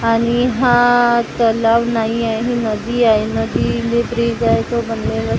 आणि हा तलाव नाही आहे ही नदी आहे नदी ब्रीज आहे तो बनलेल--